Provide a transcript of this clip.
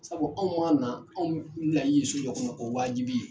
Sabu anw maa na anw bilali so jɔ kɔnɔ o wajibi ye.